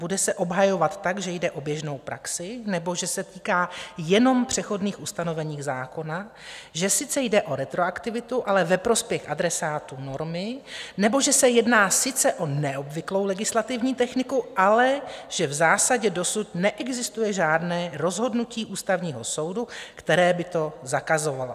Bude se obhajovat tak, že jde o běžnou praxi, nebo že se týká jenom přechodných ustanovení zákona, že sice jde o retroaktivitu, ale ve prospěch adresátů normy, nebo že se jedná sice o neobvyklou legislativní techniku, ale že v zásadě dosud neexistuje žádné rozhodnutí Ústavního soudu, které by to zakazovalo?